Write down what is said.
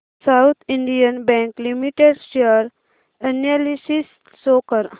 south Indian Bank Limited share analysis show कर